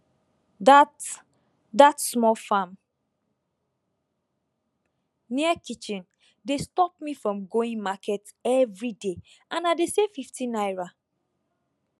that that small farm near kitchen dey stop me from going market everyday and i dey save 50 naira